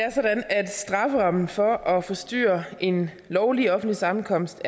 er sådan at strafferammen for at forstyrre en lovlig offentlig sammenkomst